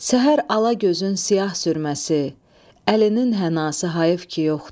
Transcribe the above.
Səhər alagözün siyah sürməsi, əlinin hənası hayıf ki yoxdur.